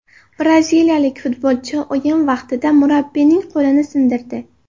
Braziliyalik futbolchi o‘yin vaqtida murabbiyning qo‘lini sindirdi.